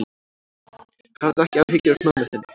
Hafðu ekki áhyggjur af mömmu þinni.